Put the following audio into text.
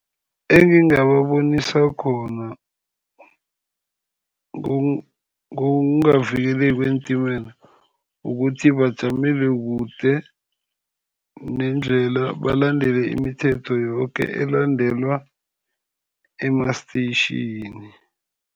Engingababonisa khona ngokungavikeleki kweentimela, ukuthi bajamele kude nendlela, balandele imithetho yoke elandelwa ema-station.